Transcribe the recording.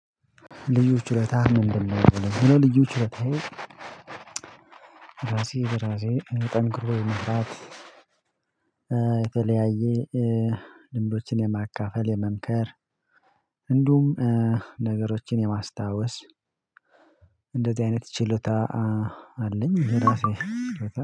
ልዩ ችሎታህ ምንድነው የሚለው? ልዩ ችሎታየ ራሴ በራሴ ጠንክሮ መስራት የተለያየ ልምዶችን የማካፈል የመምከር እንደውም ነገሮችን የማስታወስ እንደዚህ አይነት ችሎታ አለኝ። ይሄ ራሴ